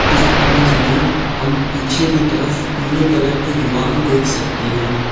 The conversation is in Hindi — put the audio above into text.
इस इमेज़ में हम पीछे की तरफ पीले कलर की दीवाल देख सकते हैं।